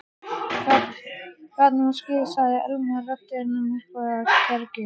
Gat nú skeð sagði Elma, röddin myrkvuð af kergju.